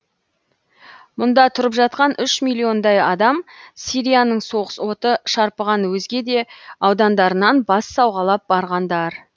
мұнда тұрып жатқан үш миллиондай адам сирияның соғыс оты шарпыған өзге де аудандарынан бас сауғалап барғандар